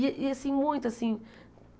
E e assim, muito, assim.